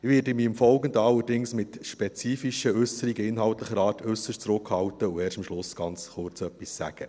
Ich werde mich aber im Folgenden mit spezifischen Äusserungen inhaltlicher Art äusserst zurückhalten und erst am Schluss ganz kurz etwas sagen.